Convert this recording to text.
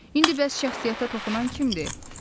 İndi bəs şəxsiyyətə toxunan kimdir?